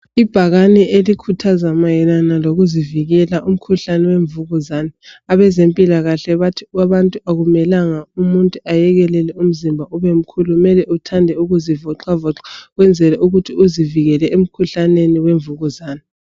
Ibhakane elikhuthaza mayelana lokuzivikela kumkhuhlane wemvukuzane .Abezempilakahle bathi abantu akumelanga umuntu ayekelele umzimba ubemkhulu . Kumele uthande ukuzivoxavoxa ukwenzela ukuthi uzivikele emkhuhlaneni wemvukuzane .